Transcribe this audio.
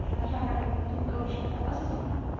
प्रकारे पण तुम्ही करू शकता. असंच ना?